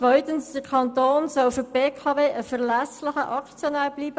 Zweitens soll der Kanton für die BKW ein verlässlicher Aktionär bleiben.